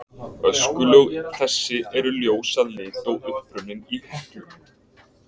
Öskulög þessi eru ljós að lit og upprunnin í Heklu.